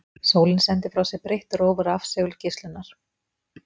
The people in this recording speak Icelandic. Sólin sendir frá sér breitt róf rafsegulgeislunar.